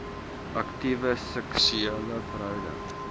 aktiewe seksuele verhouding